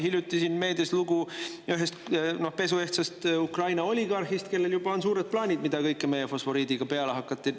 Hiljuti oli meedias lugu ühest pesuehtsast Ukraina oligarhist, kellel juba on suured plaanid, mida kõike meie fosforiidiga peale hakata.